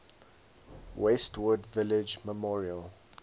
westwood village memorial